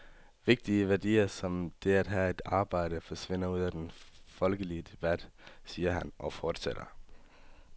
Vigtige værdier, som det at have et arbejde, forsvinder ud af den folkelige debat, siger han og fortsætter.